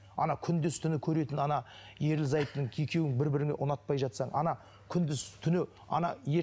ана күндіз түні көретін ана ерлі зайыптының екеуің бір біріңді ұнатпай жатсаң ана күндіз түні ана